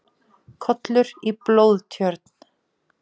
Kollur í blóðtjörn.